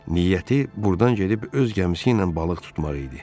Niyyəti burdan gedib öz gəmisi ilə balıq tutmaq idi.